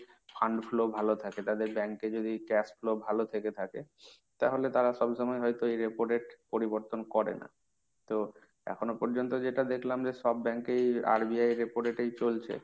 fund flow ভালো থাকে, তাদের bank এ যদি cash flow ভালো থেকে থাকে, তাহলে তারা সবসময় হয়তো ওই repo rate পরিবর্তন করে না। তো এখনো পর্যন্ত যেটা দেখলাম যে সব bank এই RBI এর repo rate ই চলছে।